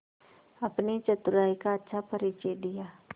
अपनी चतुराई का अच्छा परिचय दिया